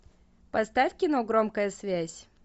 поставь кино громкая связь